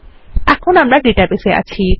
এখন আমরা ডেটাবেস এ আছি